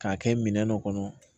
K'a kɛ minɛn dɔ kɔnɔ